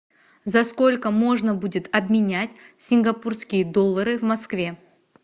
за сколько можно будет обменять сингапурские доллары в москве